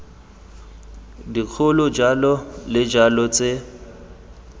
dikgolo jalo le jalo tse